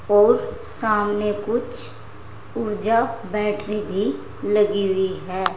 और सामने कुछ ऊर्जा बैटरी भी लगी हुई है।